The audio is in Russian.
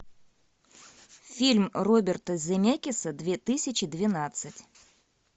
фильм роберта земекиса две тысячи двенадцать